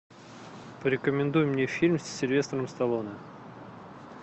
порекомендуй мне фильм с сильвестром сталлоне